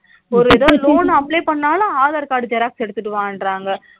loan apply பண்ணாலும் aadhar card xerox எடுத்துட்டு வான்றாங்க